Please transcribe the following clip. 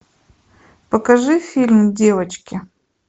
покажи фильм девочки